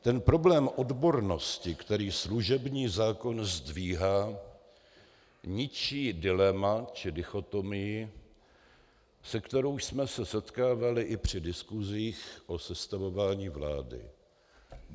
Ten problém odbornosti, který služební zákon zdvihá, ničí dilema, či dichotomii, se kterou jsme se setkávali i při diskusích o sestavování vlády.